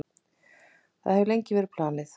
Það hefur verið lengi planið.